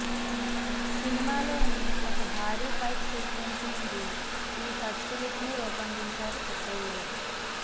సినిమాలోని ఒక భారీ ఫైట్ సీక్వెన్స్ నుండి ఈ ఫస్ట్ లుక్ ను రూపొందించారు చిత్ర యూనిట్